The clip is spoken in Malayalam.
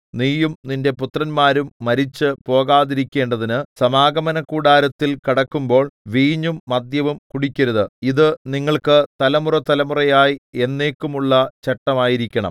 നീയും നിന്റെ പുത്രന്മാരും മരിച്ചു പോകാതിരിക്കേണ്ടതിനു സമാഗമനകൂടാരത്തിൽ കടക്കുമ്പോൾ വീഞ്ഞും മദ്യവും കുടിക്കരുത് ഇതു നിങ്ങൾക്ക് തലമുറതലമുറയായി എന്നേക്കുമുള്ള ചട്ടമായിരിക്കണം